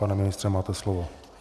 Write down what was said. Pane ministře, máte slovo.